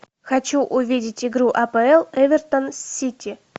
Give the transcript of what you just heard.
хочу увидеть игру апл эвертон сити